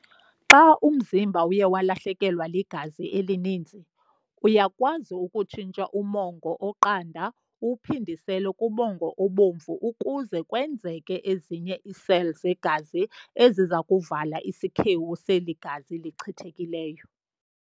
Xa umzimba uye walahlekelwa ligazi elininzi, uyakwazi ukutshintsha umongo oqanda uwuphindisele kumongo obomvu ukuze kwenzeke ezinye ezinye ii-cell zegazi ezizakuvala isikhewu seli gazi lichithekileyo.